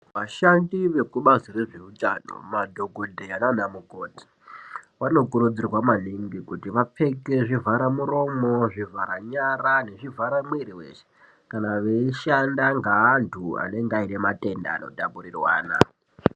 Vashandi veku bazi rezve utano ma dhokoteya nana mukoti vano kurudzirwa maningi kuti vapfeke zvivhara muromo zvivhara nyara nezvi vhara mwiri weshe kana veyi shanda nge andu anenge aine matenda ano tapurirwana.